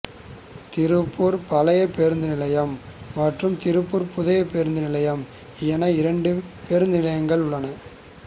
திருப்பூர் பழைய பேருந்து நிலையம் மற்றும் திருப்பூர் புதிய பேருந்து நிலையம் என இரண்டு பேருந்து நிலையங்கள் உள்ளன